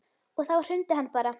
Og þá hrundi hann bara.